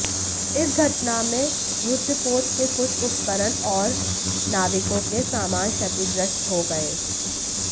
इस घटना में युद्धपोत के कुछ उपकरण और नाविकों के सामान क्षतिग्रस्त हो गए